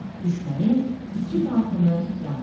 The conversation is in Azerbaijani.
Düşmənin iki tankını yandırır.